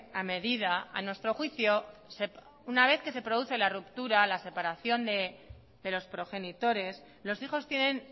a medida a nuestro juicio una vez que se produce la ruptura la separación de los progenitores los hijos tienen